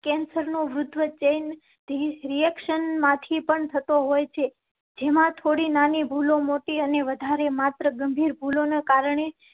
cancer નો વૃદ્ધ chain reaction માંથી પણ થતો હોય છે જેમાં થોડી નાની ભૂલો મોટી અને વધારે માત્ર ગંભીર ભૂલો ના કારણે